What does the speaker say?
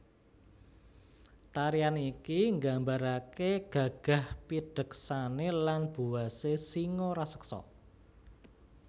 Tarian iki nggambarake gagah pideksane lan buwase singa raseksa